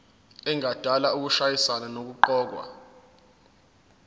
engadala ukushayisana nokuqokwa